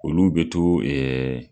Olu be to ɛɛ